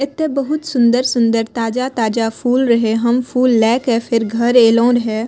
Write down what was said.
एते बहुत सुन्दर-सुन्दर ताजा-ताजा फूल रहे हम फूल लेएके फिर घर ऐलो रहे।